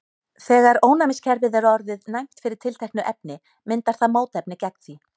þegar ónæmiskerfið er orðið næmt fyrir tilteknu efni myndar það mótefni gegn því